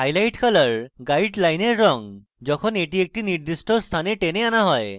highlight color গাইডলাইনের রঙ যখন এটি একটি নির্দিষ্ট স্থানে টেনে আনা হয়